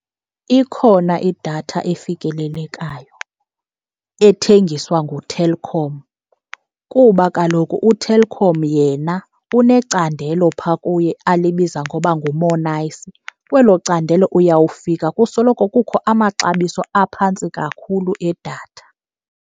Ikhona idatha efikelelekayo ethengiswa nguTelkom kuba kaloku uTelkom yena unecandelo phaa kuye alibiza ngoba nguMo'Nice. Kwelo candelo uyawufika kusoloko kukho amaxabiso aphantsi kakhulu edatha.